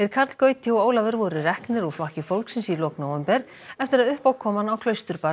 Karl Gauti og Ólafur voru reknir úr Flokki fólksins í lok nóvember eftir að uppákoman á